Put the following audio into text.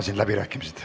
Avan läbirääkimised.